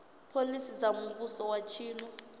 phoḽisi dza muvhuso wa tshino